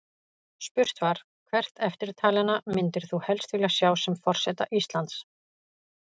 Spurt var: Hvert eftirtalinna myndir þú helst vilja sjá sem forseta Íslands?